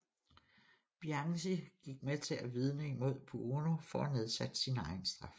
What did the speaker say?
Bianchi gik med til at vidne imod Buono for at få nedsat sin egen straf